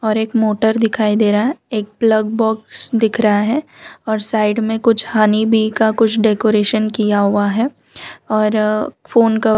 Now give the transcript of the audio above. एक मोटर दिखाई दे रहा है एक प्लगबॉक्स दिख रहा है और साइड में कुछ हनी बी का डेकोरेशन किया हुआ है और फोन का --